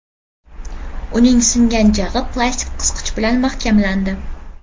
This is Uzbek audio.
Uning singgan jag‘i plastik qisqich bilan mahkamlandi.